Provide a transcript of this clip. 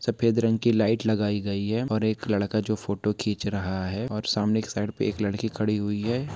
सफेद रंग के लाइट लगाई गई हैं और एक लड़का जो फ़ोटो खीच रहा है और सामने एक साइड में एक लड़की खड़ी हुई हैं।